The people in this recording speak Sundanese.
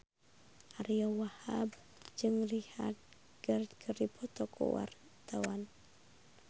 Ariyo Wahab jeung Richard Gere keur dipoto ku wartawan